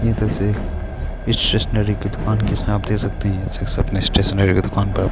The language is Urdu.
یہ اسٹیشنری کے دکان کے سامنے رکھتے ہیں یہ سب اسٹیشنری کے دکان پر--